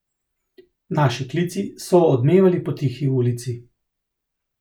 Naši klici so odmevali po tihi ulici.